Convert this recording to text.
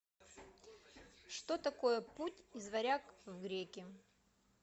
что такое путь из варяг в греки